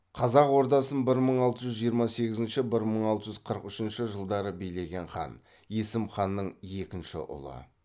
қазақ ордасын бір мың алты жүз жиырма сегізінші бір мың алты жүз қырық үшінші жылдары билеген хан есім ханның екінші ұлы